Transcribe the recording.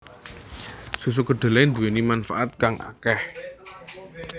Susu kedelai nduweni manfaat kang akeh